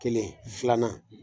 Kelen filanan